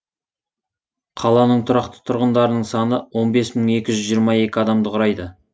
қаланың тұрақты тұрғындарының саны он бес мың екі жүз жиырма екі адамды құрайды